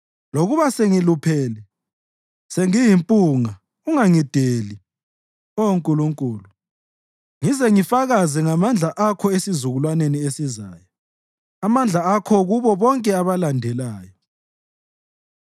Lokuba sengiluphele sengiyimpunga ungangideli, Oh Nkulunkulu, ngize ngifakaze ngamandla akho esizukulwaneni esizayo, amandla akho kubo bonke abalandelayo.